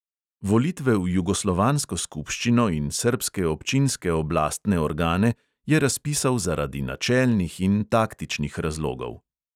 Volitve v jugoslovansko skupščino in srbske občinske oblastne organe je razpisal zaradi načelnih in taktičnih razlogov.